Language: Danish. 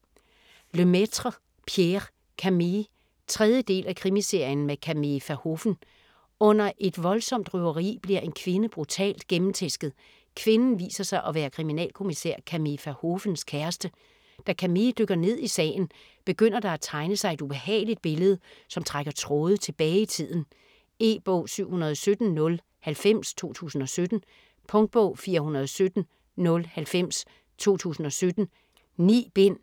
Lemaitre, Pierre: Camille 3. del af Krimiserien med Camille Verhoeven. Under et voldsomt røveri bliver en kvinde brutalt gennemtæsket. Kvinden viser sig at være kriminalkommissær Camille Verhoevens kæreste. Da Camille dykker ned i sagen, begynder der at tegne sig et ubehageligt billede, som trækker tråde tilbage i tiden. E-bog 717090 2017. Punktbog 417090 2017. 9 bind.